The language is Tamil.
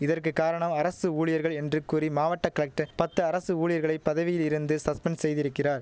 இதற்கு காரணம் அரசு ஊழியர்கள் என்று கூறி மாவட்ட கலெக்ட பத்து அரசு ஊழியர்களை பதவியில் இருந்து சஸ்பெண்ட் செய்திருக்கிறார்